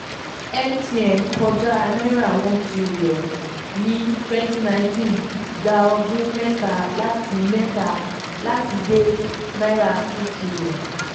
mtn kọjá n1trn ní 2019 gba ọdún mẹ́ta láti mẹ́ta láti dé n2trn.